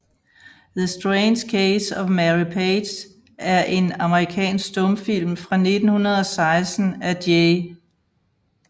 The Strange Case of Mary Page er en amerikansk stumfilm fra 1916 af J